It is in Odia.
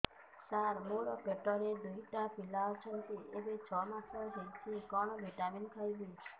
ସାର ମୋର ପେଟରେ ଦୁଇଟି ପିଲା ଅଛନ୍ତି ଏବେ ଛଅ ମାସ ହେଇଛି କଣ ଭିଟାମିନ ଖାଇବି